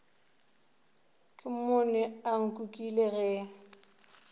ke mmone a nkukile ge